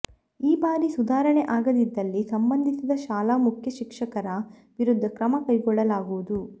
ಈ ಬಾರಿ ಸುಧಾರಣೆ ಆಗದಿದ್ದಲ್ಲಿ ಸಂಬಂಧಿಸಿದ ಶಾಲಾ ಮುಖ್ಯಶಿಕ್ಷಕರ ವಿರುದ್ಧ ಕ್ರಮ ಕೈಗೊಳ್ಳಲಾಗುವುದು